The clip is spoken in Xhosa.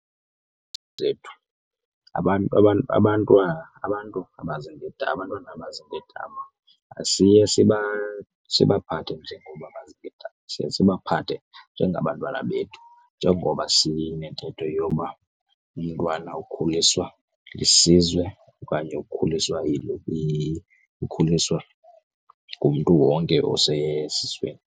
zethu, abantwana abantu abaziinkedama abantwana abaziinkedama asiye sibaphathe njengoba baziinkedama, siye sibaphathe njengabantwana bethu njengoba sinentetho yoba umntwana ukhuliswa lisizwe okanye ukhuliswa ukhuliswa ngumntu wonke osesizweni.